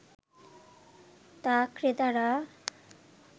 তা ক্রেতারা